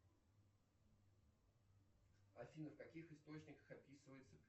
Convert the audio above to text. афина в каких источниках описывается